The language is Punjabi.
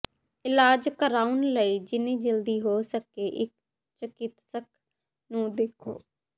ਇਲਾਜ ਕਰਵਾਉਣ ਲਈ ਜਿੰਨੀ ਜਲਦੀ ਹੋ ਸਕੇ ਇੱਕ ਚਿਕਿਤਸਕ ਨੂੰ ਦੇਖੋ